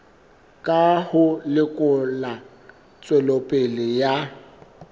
ka ho lekola tswelopele ya